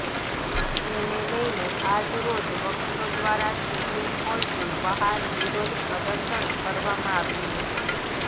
જેને લઈને આજ રોજ વકીલો દ્વારા સુપ્રીમ કોર્ટની બહાર વિરોધ પ્રદર્શન કરવામાં આવ્યું છે